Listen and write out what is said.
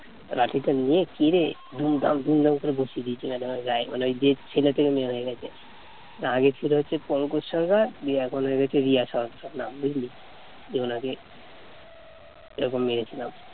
লাঠিটা নিয়ে কেরে দুমদাম দুমদাম করে বসিয়ে দিয়েছে madam র গায়ে মানে যে ছেলে থেকে মেয়ে হয়ে গেছে আগে ছিল হচ্ছে পঙ্কজ সরকার দিয়ে এখন হয়ে গেছে রিয়া সরকার নাম বুঝলি। দিয়ে ওনাকে এরকম মেরেছিলাম